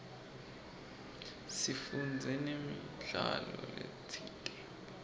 sifundze namidlalo letsite